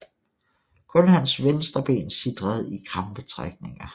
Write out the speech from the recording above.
Kun hans venstre ben sitrede i krampetrækninger